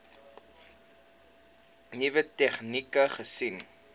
nuwe tegnieke gesien